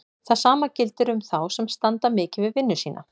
Það sama gildir um þá sem standa mikið við vinnu sína.